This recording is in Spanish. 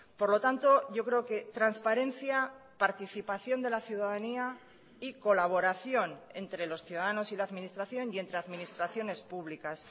por lo tanto yo creo que transparencia participación de la ciudadanía y colaboración entre los ciudadanos y la administración y entre administraciones públicas